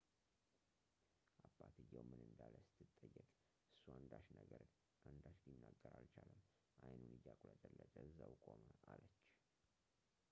አባትየው ምን እንዳለ ስትጠየቅ እሱ አንዳች ሊናገር አልቻለም አይኑን እያቁለጨለጨ እዛው ቆመ አለች